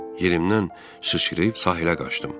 Yerimnən sıçrayıb sahilə qaçdım.